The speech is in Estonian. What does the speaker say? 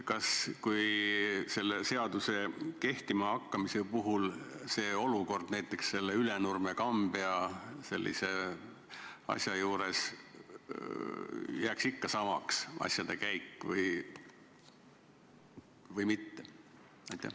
Kas selle seaduse kehtima hakkamise korral oleks Ülenurme ja Kambja juhtumi puhul olukord ikka samaks jäänud või oleks asjade käik muutunud?